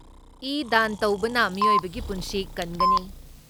E ꯗꯥꯟ ꯇꯧꯕꯅ ꯃꯤꯑꯣꯏꯕꯒꯤ ꯄꯨꯟꯁꯤ ꯀꯟꯒꯅꯤ ꯫